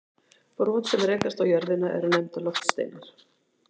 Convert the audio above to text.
Brot sem rekast á jörðina eru nefnd loftsteinar.